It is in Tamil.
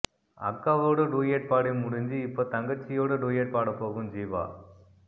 அக்காவோடு டூயட் பாடி முடிஞ்சு இப்ப தங்கச்சியோடு டூயட் பாட போகும் ஜீவா